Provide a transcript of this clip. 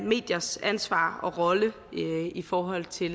mediers ansvar og rolle i forhold til